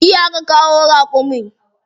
Jiya aka kawo raƙumin.